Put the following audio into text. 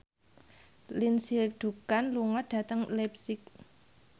Lindsay Ducan lunga dhateng leipzig